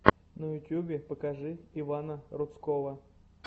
в ютюбе покажи ивана рудского